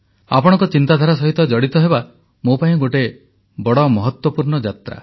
ଆପଣଙ୍କ ଚିନ୍ତାଧାରା ସହିତ ଜଡ଼ିତ ହେବା ମୋ ପାଇଁ ଗୋଟିଏ ବଡ଼ ମହତ୍ୱପୂର୍ଣ୍ଣ ଯାତ୍ରା